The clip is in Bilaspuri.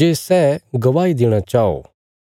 जे सै गवाही देणा चाओ